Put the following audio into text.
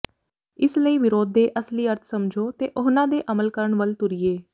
ਇਸ ਲਈ ਵਿਰੋਧ ਦੇ ਅਸਲੀ ਅਰਥ ਸਮਝੋ ਤੇ ਉਹਨਾਂ ਤੇ ਅਮਲ ਕਰਨ ਵੱਲ ਤੁਰੀਏ